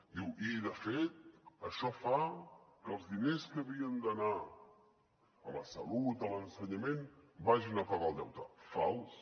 diu i de fet això fa que els diners que havien d’anar a la salut a l’ensenyament vagin a pagar el deute fals